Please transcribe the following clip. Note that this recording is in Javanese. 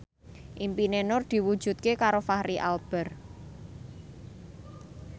impine Nur diwujudke karo Fachri Albar